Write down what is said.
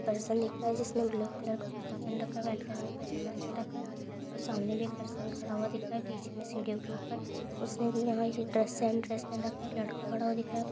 Person दिख रहा है जिसने ब्लैक कलर का कुर्ता पहन रखा है व्हाइट कलर में पैजामा पहन रखा है और सामने भी एक पर्सन खड़ा हुआ दिख रहा है में सीढ़ियों के ऊपर उसने भी यहाँ ये ड्रेस सेम ड्रेस पहन रखी है एक लड़का खड़ा हुआ दिख रहा है।